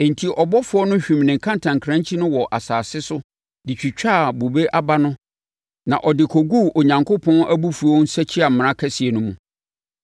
Enti, ɔbɔfoɔ no hwim ne kantankrankyi no wɔ asase so de twitwaa bobe aba no na ɔde kɔguu Onyankopɔn abufuo nsakyiamena kɛseɛ no mu.